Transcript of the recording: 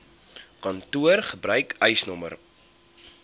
kantoor gebruik eisnr